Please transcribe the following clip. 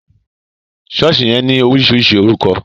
Sọ̀ọ́sì yẹn ní oríṣiríṣi orúkọ